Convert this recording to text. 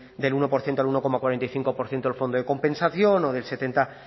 del uno por ciento al uno coma cuarenta y cinco por ciento del fondo de compensación o del setenta